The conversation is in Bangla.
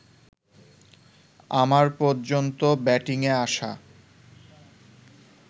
আমার পর্যন্ত ব্যাটিংয়ে আসা